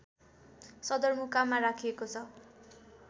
सदरमुकाममा राखिएको छ